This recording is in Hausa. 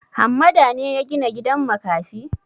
Hammada ne ya gina gidan makafi?